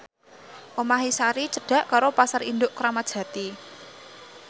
omahe Sari cedhak karo Pasar Induk Kramat Jati